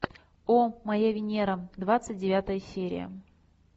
о моя венера двадцать девятая серия